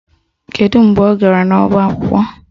Kedu mgbe ọ gara n'ọba akwụkwọ?